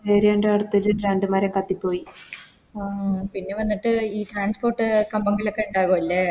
Area ൻറെ അടുത്തൊരു രണ്ട് മരം കത്തി പോയി ആ പിന്നെ വന്നിട്ട് ഈ Transport കമ്പങ്ങളൊക്കെ ഇണ്ടാകു അല്ലെ